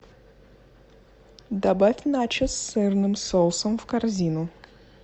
добавь начос с сырным соусом в корзину